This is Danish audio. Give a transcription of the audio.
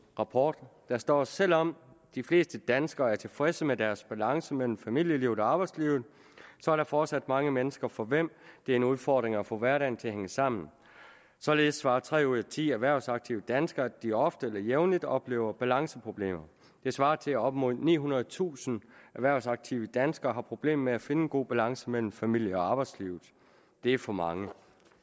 rapport der står selvom de fleste danskere er tilfredse med deres balance mellem familielivet og arbejdslivet så er der fortsat mange mennesker for hvem det er en udfordring at få hverdagen til at hænge sammen således svarer tre ud af ti erhvervsaktive danskere at de ofte eller jævnligt oplever balanceproblemer det svarer til at op mod nihundredetusind erhvervsaktive danskere har problemer med at finde en god balance mellem familie og arbejdslivet det er for mange